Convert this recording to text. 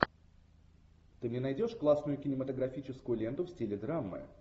ты мне найдешь классную кинематографическую ленту в стиле драмы